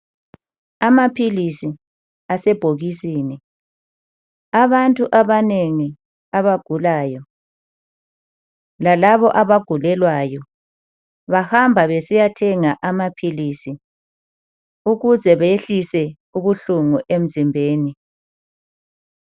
Amaphilisi asebhokisini abantu abanengi abagulayo lalabo abagulelwayo bahamba besiyathenga amaphilisi ukuze behlise ubuhlungu emzimbeni.